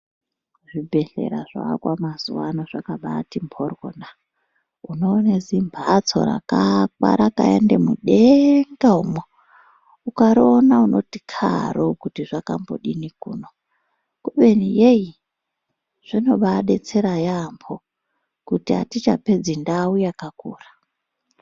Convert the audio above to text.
Zvibhedhlera zvoakwa mazuwaano zvakabaati mphoryona. Unoone zimphatso rakaakwa rakaende mudeenga umwo. ukariona unoti karoo kuti zvakambodini kuno, kubeni yei. Zvinobaadetsera yaampho ,kuti atichapedzi ndau yakakura.